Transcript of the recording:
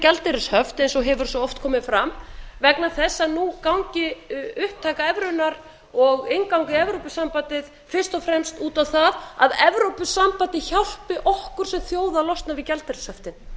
gjaldeyrishöft eins og hefur svo oft komið fram vegna þess að nú gangi upptaka evrunnar og innganga í evrópusambandið fyrst og fremst út á það að evrópusambandið hjálpi okkur sem þjóð að losna við gjaldeyrishöftin